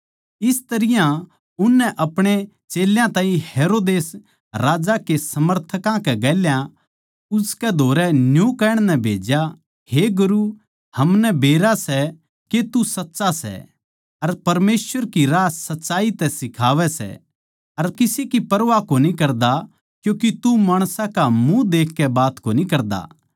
इस तरियां उननै अपणे चेल्यां ताहीं हेरोदेस राजा के समर्थकां कै गेल्या उसकै धोरै न्यू कहण नै भेज्या हे गुरू हमनै बेरा सै के तू साच्चा सै अर परमेसवर की राह सच्चाई तै सिखावै सै अर किसे की परवाह कोनी करता क्यूँके तू माणसां का मुँह देखकै बात कोनी करदा